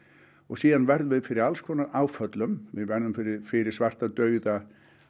og síðan verðum við fyrir alls konar áföllum við verðum fyrir fyrir svarta dauða